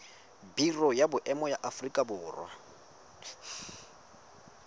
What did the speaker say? biro ya boemo ya aforika